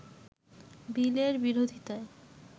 বিলের বিরোধিতায়